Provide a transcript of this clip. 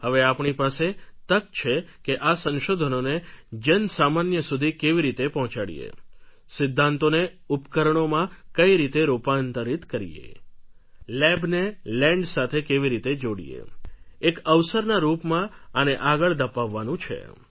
હવે આપણી પાસે તક છે કે આ સંશોધનોને જનસામાન્ય સુધી કેવી રીતે પહોંચાડીએ સિદ્ધાંતોને ઉપકરણોમાં કઈ રીતે રૂપાંતરિત કરીએ લેબને લેન્ડ સાથે કેવી રીતે જોડીએ એક અવસરના રૂપમાં આને આગળ ધપાવવાનું છે